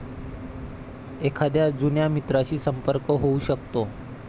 एखाद्या जुन्या मित्राशी संपर्क होऊ शकतो.